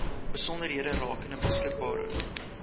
besonderhede rakende beskikbare